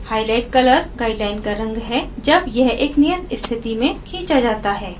highlight color guideline का रंग है जब यह एक नियत स्थिति में खींचा जाता है